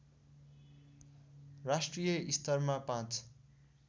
राष्ट्रिय स्तरमा पाँच